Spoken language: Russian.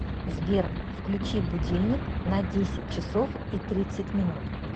сбер включи будильник на десять часов и тридцать минут